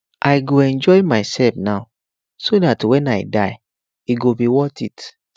i go enjoy myself now so dat wen i die e go be worth it